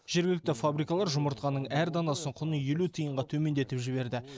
жергілікті фабрикалар жұмыртқаның әр данасын құны елу тиынға төмендетіп жіберді